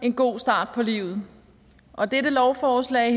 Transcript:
en god start på livet og det her lovforslag